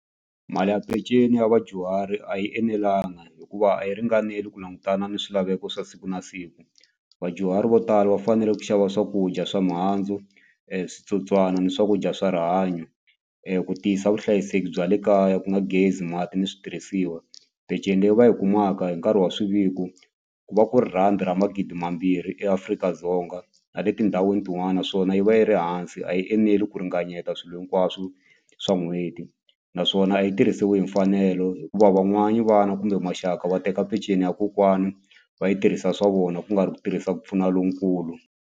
Mali ya peceni ya vadyuhari a yi enelanga hikuva a yi ringaneli ku langutana ni swilaveko swa siku na siku vadyuhari vo tala va fanele ku xava swakudya swa mihandzu switsotswana ni swakudya swa rihanyo ku tiyisa vuhlayiseki bya le kaya ku nga gezi mati ni switirhisiwa peceni leyi va yi kumaka hi nkarhi wa swiviko ku va ku ri rhandi ra magidi mambirhi eAfrika-Dzonga na le tindhawini tin'wani naswona yi va yi ri hansi a yi eneli ku ringanyeta swilo hinkwaswo swa n'hweti naswona a yi tirhisiwi hi mfanelo hikuva van'wani vana kumbe maxaka va teka peceni ya kokwana va yi tirhisa swa vona ku nga ri ku tirhisa ku pfuna lonkulu.